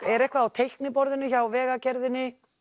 er eitthvað á teikniborðinu hjá Vegagerðinni